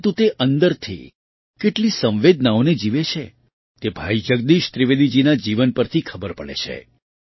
પરંતુ તે અંદરથી કેટલી સંવેદનાઓને જીવે છે તે ભાઈ જગદીશ ત્રિવેદીજીના જીવન પરથી ખબર પડે છે